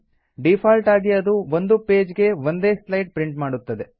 D fault ಆಗಿ ಅದು ಒಂದು ಪೇಜ್ ಗೆ ಒಂದೇ ಸ್ಲೈಡ್ ಪ್ರಿಂಟ್ ಮಾಡುತ್ತದೆ